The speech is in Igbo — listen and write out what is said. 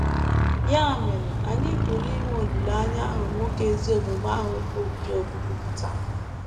Ya mere, anyị pụrụ inwe olileanya ahụ nwoke ezi omume ahụ bụ́ Job kwupụtara.